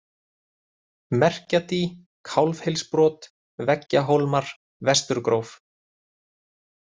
Merkjadý, Kálfhylsbrot, Veggjahólmar, Vesturgróf